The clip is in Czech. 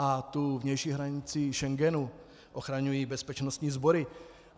A tu vnější hranici Schengenu ochraňují bezpečnostní sbory.